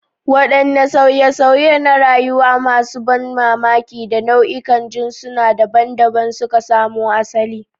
Wadanne sauye-sauye na rayuwa masu ban mamaki da nau'ikan jinsuna daban-daban suka samo asali?